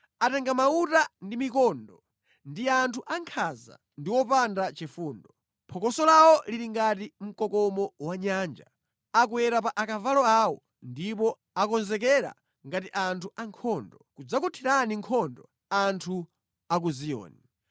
Atenga mauta ndi mikondo; ndi anthu ankhanza ndi opanda chifundo. Phokoso lawo lili ngati mkokomo wa nyanja. Akwera pa akavalo awo ndipo akonzekera ngati anthu ankhondo, kudzakuthirani nkhondo anthu a ku Ziyoni.”